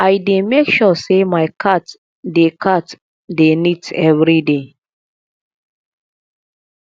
i dey make sure sey my cat dey cat dey neat everyday